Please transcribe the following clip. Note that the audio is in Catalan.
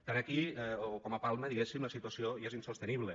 tant aquí com a palma diguéssim la situació ja és insostenible